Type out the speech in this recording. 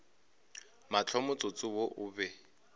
mahlo motsotso wo o be